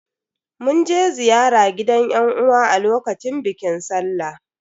Mun je ziyara gidan yan uwa a lokacin bikin sallah.